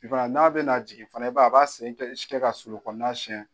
I b'a ye a n'a be na jigin fana i b'a ye a ba sen kɛ ka solon kɔnɔna siɲɛ.